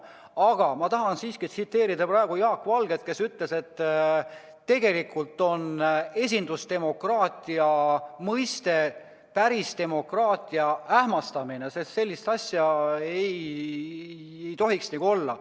Aga ma tahan siiski tsiteerida Jaak Valget, kes on öelnud, et tegelikult on esindusdemokraatia mõiste pärisdemokraatia ähmastamine, sest sellist asja ei tohiks nagu olla.